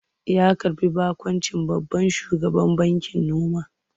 Ya karɓi baƙuncin babban shugaban bankin noma.